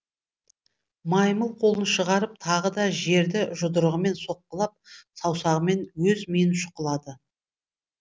маймыл қолын шығарып тағы да жерді жұдырығымен соққылап саусағымен өз миын шұқылады